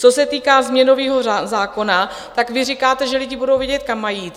Co se týká změnového zákona, tak vy říkáte, že lidi budou vědět, kam mají jít.